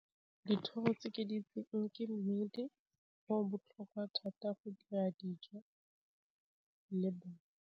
Dithoro tse ke di itseng ke mmedi o botlhokwa thata go dira dijo le bone.